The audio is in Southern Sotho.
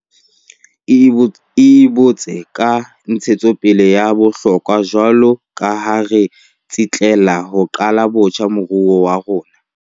E boetse ke ntshetsopele ya bohlokwa jwaloka ha re tsitlallela ho qala botjha moruo wa rona.